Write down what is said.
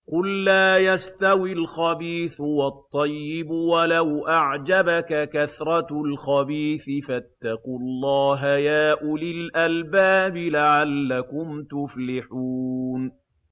قُل لَّا يَسْتَوِي الْخَبِيثُ وَالطَّيِّبُ وَلَوْ أَعْجَبَكَ كَثْرَةُ الْخَبِيثِ ۚ فَاتَّقُوا اللَّهَ يَا أُولِي الْأَلْبَابِ لَعَلَّكُمْ تُفْلِحُونَ